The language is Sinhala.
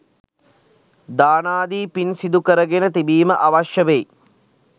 දානාදී පින් සිදු කරගෙන තිබීම අවශ්‍ය වෙයි.